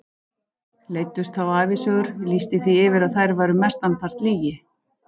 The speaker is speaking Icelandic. Leiddust þá ævisögur, lýsti því yfir að þær væru mestan part lygi.